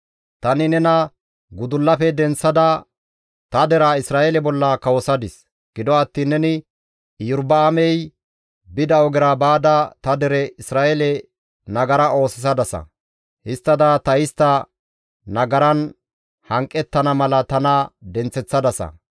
«Tani nena gudullafe denththada ta deraa Isra7eele bolla kawosadis; gido attiin neni Iyorba7aamey bida ogera baada ta dere Isra7eele nagara oosisadasa; histtada ta istta nagaran hanqettana mala tana denththeththadasa.